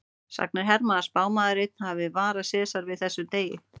Sagnir herma að spámaður einn hafi varað Sesar við þessum degi.